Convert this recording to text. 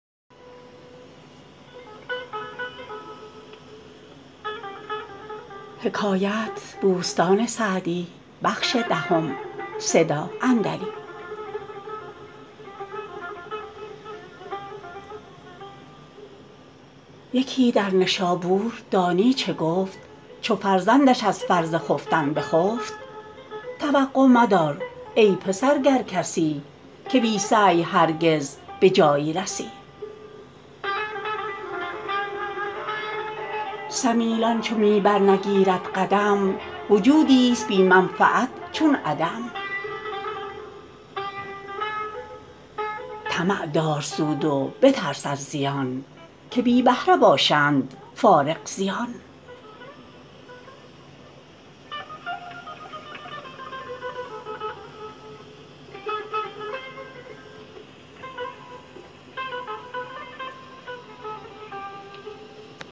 یکی در نشابور دانی چه گفت چو فرزندش از فرض خفتن بخفت توقع مدار ای پسر گر کسی که بی سعی هرگز به جایی رسی سمیلان چو می بر نگیرد قدم وجودی است بی منفعت چون عدم طمع دار سود و بترس از زیان که بی بهره باشند فارغ زیان